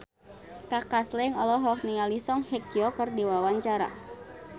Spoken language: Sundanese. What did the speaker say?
Kaka Slank olohok ningali Song Hye Kyo keur diwawancara